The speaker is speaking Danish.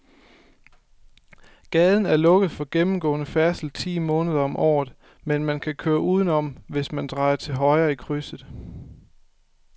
Gaden er lukket for gennemgående færdsel ti måneder om året, men man kan køre udenom, hvis man drejer til højre i krydset.